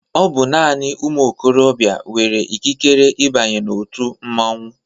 Ọbụ naanị ụmụ ikorobia nwere ikikere ịbanye na-otu mmanwụ.